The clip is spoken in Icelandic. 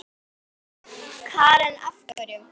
Karen: Hverju?